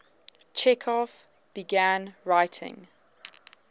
chekhov began writing